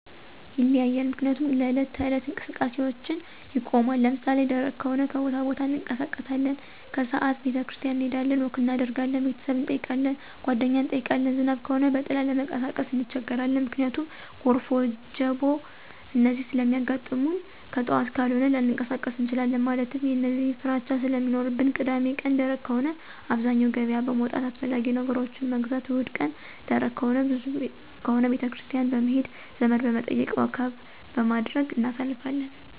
ይለያያል ምክንያቱም ለዕለት ተዕለት እንቀስቃሴአችን ይቆማን። ለምሳሌ ደረቅ ከሆነ ከቦታቦታ እንቀሳቀሳለን። ከስዓት ቤተክርስቲያን እንሄዳለን፣ ወክ እናደርጋለን፣ ቤተሰብ እንጠይቃለን፣ ጓደኛ እንጠይቃለን። ዝናብ ከሆነ በጥላ ለመንቀሳቀስ እንቸገራለን። ምክንያቱም ጎርፍ፣ ወጀቦ፣ እነዚህ ስለሚያጋጥሙንከጥዋት ካልሆነ ላንቀሳቀስ እንችላለን። ማለትም የእነዚህ ፍራቻ ስለሚኖርብን። ቅዳሜቀን ደረቅ ከሆነ አብዛኛው ገበያ በመዉጣት አስፈላጊ ነገሮችን መግዛት። እሁድቀን ደረቅ ከሆነ ቤተክርስቲያን በመሄድ፣ ዘመድበመጠየቅ፣ ወክበማድረግ እናሳልፋለን።